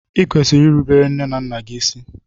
i kwesịrị ịrụbere nne na nna gị ịsị!!